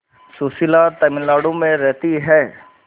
सुशीला तमिलनाडु में रहती है